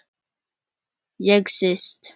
Ég sest.